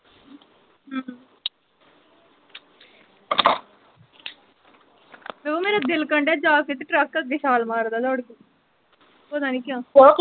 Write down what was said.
ਓਹ ਮੇਰਾ ਦਿਲ ਕਰਨ ਡੇਆ ਜਾ ਕੇ ਤੇ ਟੱਰਕ ਅੱਗੇ ਛਾਲ ਮਾਰ ਦਾ ਦੌੜ ਕੇ ਪਤਾ ਨੀ ਕਿਓਂ .